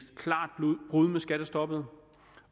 klart brud med skattestoppet